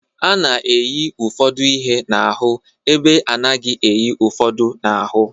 A na-eyi ụfọdụ ihe n'ahụ ebe a naghị eyi ụfọdụ n'ahụ.